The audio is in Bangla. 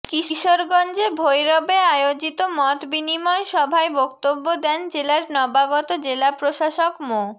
কিশোরগঞ্জে ভৈরবে আয়োজিত মতবিনিময় সভায় বক্তব্য দেন জেলার নবাগত জেলা প্রশাসক মো